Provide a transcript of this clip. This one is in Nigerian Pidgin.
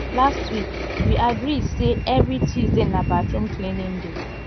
last week we agree sey every tuesday na bathroom cleaning day